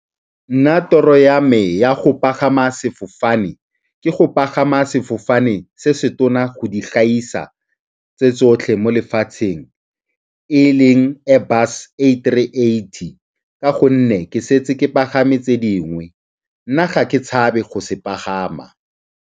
Nna toro ya me ya go pagama sefofane ke go pagama sefofane se se tona go di gaisa tse tsotlhe mo lefatsheng e leng Airbus Three Eighty ka gonne ke setse ke pagame tse dingwe, nna ga ke tshabe go se pagama.